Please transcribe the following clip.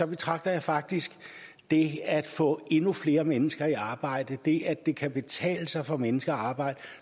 betragter jeg faktisk det at få endnu flere mennesker i arbejde det at det kan betale sig for mennesker at arbejde